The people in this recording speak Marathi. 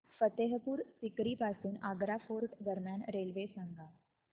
फतेहपुर सीकरी पासून आग्रा फोर्ट दरम्यान रेल्वे सांगा